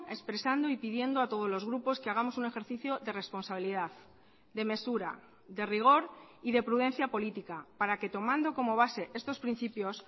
expresando y pidiendo a todos los grupos que hagamos un ejercicio de responsabilidad de mesura de rigor y de prudencia política para que tomando como base estos principios